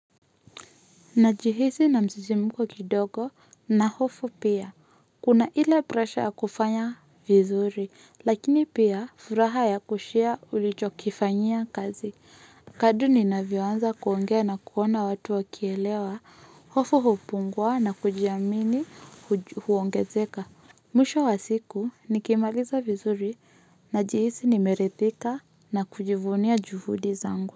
Najihisi na msisimko kidogo na hofu pia. Kuna ile presha ya kufanya vizuri, lakini pia furaha ya kushia ulicho kifanyia kazi. Kadri ninavyoanza kuongea na kuona watu wa kielewa, hofu hupungua na kujiamini huongezeka. Mwisho wa siku nikimaliza vizuri na jihisi nimerithika na kujivunia juhudi zangu.